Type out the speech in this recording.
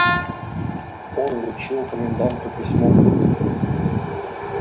он вручил коменданту письмо